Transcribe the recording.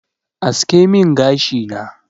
Aske min gashi na.